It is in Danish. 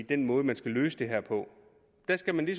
den måde man skal løse det her på der skal man